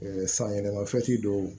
sanyɛlɛma dɔw